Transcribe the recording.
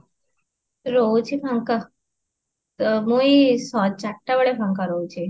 ରହୁଛି ଫାଙ୍କା, ତ ମୁଇଁ ଚାରଟା ବେଳେ ଫାଙ୍କା ରହୁଛି